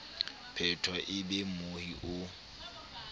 phetwa e be mmohi o